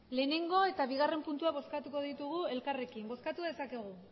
lehenengo eta bigarren puntua bozkatuko ditugu elkarrekin bozkatu dezakegu